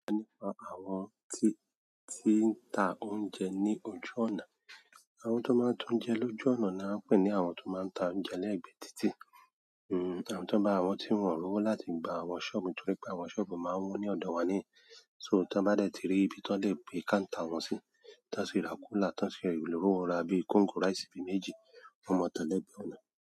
Nípa àwọn ti, tí ń ta oúnjẹ ní ojú ọ̀nà, àwọn tó máa ń ta oúnjẹ lójú ọ̀nà ni a ń pè ní àwọn tó máa ń ta oúnjẹ lẹ́ẹ̀gbẹ́ títì. Àwọn ti wọn ba, àwọn ti wọn rowo láti gba àwọn ṣọọbu nítorí pe àwọn ṣọọbu maa n wọn ni ọdọ wa nihin, so ti wọn ba dẹ ti ri ibi ti wọn le gbe counter wọn si tí wọ́n sì ra cooler, tí wọ́n sì rí ri owó rà bíi kóńgò rice bi méjì, wọn máa ta lẹ̀gbẹ ọ̀nà.